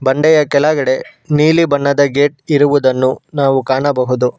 ಬಂಡೆಯ ಕೆಳಗಡೆ ನೀಲಿ ಬಣ್ಣದ ಗೇಟ್ ಇರುವುದನ್ನು ನಾವು ಕಾಣಬಹುದು.